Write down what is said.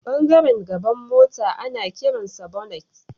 Ɓangaren gaban mota ana kiransa bonnet.